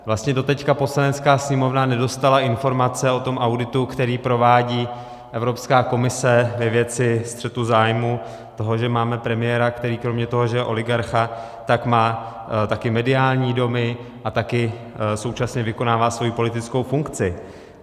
Vlastně doteď Poslanecká sněmovna nedostala informace o tom auditu, který provádí Evropská komise ve věci střetu zájmů, toho, že máme premiéra, který kromě toho, že je oligarcha, tak má také mediální domy a také současně vykonává svoji politickou funkci.